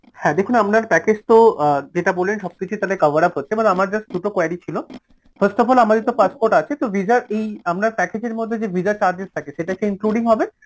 হ্যাঁ দেখুন আপনার package তো অ্যাঁ যেটা বললেন সবকিছুই তাহলে coverup হচ্ছে but আমার just দুটো query ছিল first of all আমাদের তো passport আছে তো visa র এই আপনার package এর মধ্যে যে visa charges সেটাকে including হবে